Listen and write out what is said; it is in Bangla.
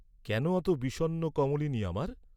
কেন অত বিষণ্ন কমলিনি আমার?